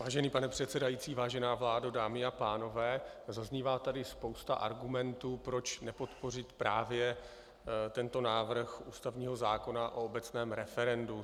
Vážený pane předsedající, vážená vládo, dámy a pánové, zaznívá tady spousta argumentů, proč nepodpořit právě tento návrh ústavního zákona o obecném referendu.